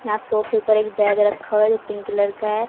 यहां सोफे पर एक बैग रखा हुआ है जो पिंक कलर का है।